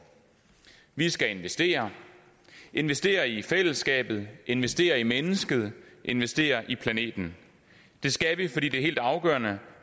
vi skal investere investere i fællesskabet investere i mennesket investere i planeten det skal vi fordi det er helt afgørende